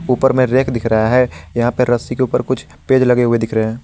ऊपर में रैक दिख रहा है यहाँ पे रस्सी के ऊपर कुछ पेज लगे हुए दिख रहे--